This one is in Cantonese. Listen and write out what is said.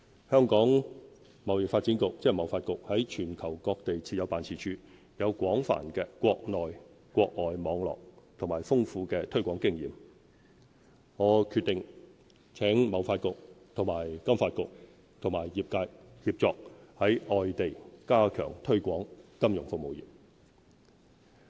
香港貿易發展局在全球各地設有辦事處，有廣泛的國內外網絡及豐富的推廣經驗，我決定請貿發局和金發局和業界協作，在外地加強推廣金融服務業。